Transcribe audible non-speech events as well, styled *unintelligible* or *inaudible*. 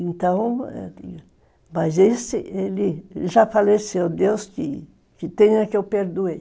Então, *unintelligible* mas, esse, ele já faleceu, Deus que tenha que eu perdoe.